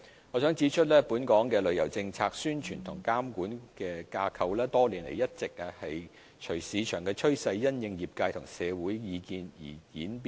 我想指出，本港的旅遊政策、宣傳和監管架構多年來一直隨着市場趨勢並因應業界和社會的意見而演變。